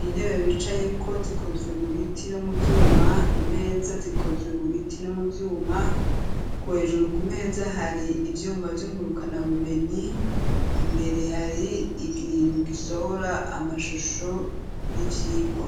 intebe bicaye ko zikozwe mu biti no mu vyuma imeza zikozwe mu biti no mu vyuma kuhejuru ku meza hari ivyuma vyunguruka na bumenyi imbere hari igintu gisohora amashusho y'ivyigwa